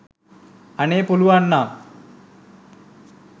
අනේ පුලුවන් නම්